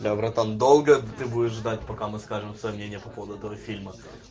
да братан долго ты будешь ждать пока мы скажем сомнения по поводу этого фильма